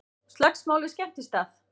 Slagsmál við skemmtistað